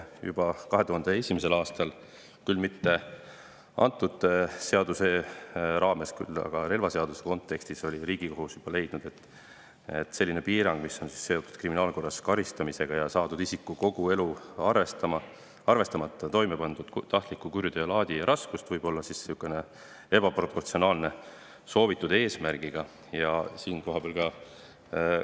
Juba 2001. aastal – küll mitte antud seaduse, aga relvaseaduse kontekstis – oli Riigikohus leidnud, et selline piirang, mis on seotud isiku kriminaalkorras karistamisega ja saadab teda kogu elu, arvestamata toimepandud tahtliku kuriteo laadi ja raskust, võib olla soovitud eesmärgi suhtes ebaproportsionaalne.